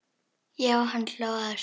Já, hann hló að þessu!